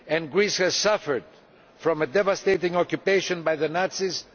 Greece suffered from a devastating occupation by the Nazis.